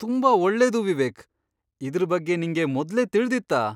ತುಂಬಾ ಒಳ್ಳೇದು ವಿವೇಕ್! ಇದ್ರ್ ಬಗ್ಗೆ ನಿಂಗೆ ಮೊದ್ಲೇ ತಿಳ್ದಿತ್ತಾ?